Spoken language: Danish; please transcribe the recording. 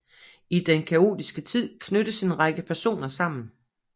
I den kaotiske tid knyttes en række personer sammen